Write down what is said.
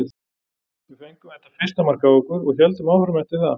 Við fengum þetta fyrsta mark á okkur og héldum áfram eftir það.